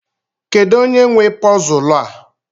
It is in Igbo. Kedụ onye nwe pọzul a?